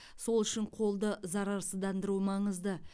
сол үшін қолды зарарсыздандыру маңызды